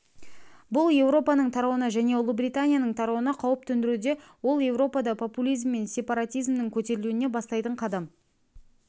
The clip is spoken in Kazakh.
бұл еуропаның тарауына және ұлыбританияның тарауына қауіп төндіруде ол еуропада популизм мен сепаратизмнің көтерілуіне бастайтын қадам